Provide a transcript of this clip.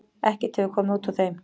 Ekkert hefur komið út úr þeim.